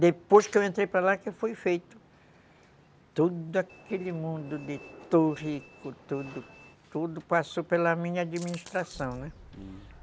Depois que eu entrei para lá, que foi feito, todo aquele mundo de, tudo, tudo passou pela minha administração, né? Hum.